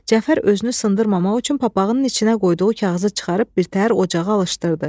Cəfər özünü sındırmamaq üçün papağının içinə qoyduğu kağızı çıxarıb birtəhər ocağa alışdırdı.